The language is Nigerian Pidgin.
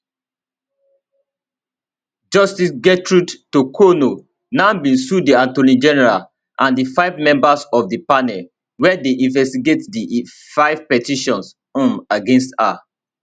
justice gertrude torkornoo now bin sue di attorney general and di five members of di panel wia dey investigate di five petitions um against her